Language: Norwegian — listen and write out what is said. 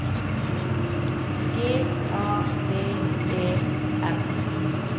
G A V E R